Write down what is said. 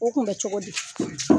O kun bɛ cogo di?